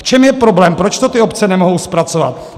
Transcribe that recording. V čem je problém, proč to ty obce nemohou zpracovat?